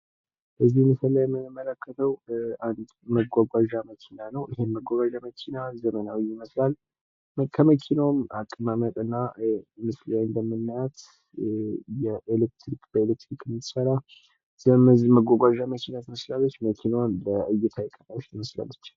በዚህ ምስል ላይ የምንመለከተው አንድ መጓጓዣ መኪና ነው። ይሄም መጓጓዣ መኪና ዘመናዊ ይመስላል። ከመኪናውም አቀማመጥና ምስሉ ላይ እንደምናያት በኤሌክትሪክ የምትሰራ የህዝብ መጓጓዣ ትመስላለች። መኪናዋም በእይታ የቀረበች ትመስላለች።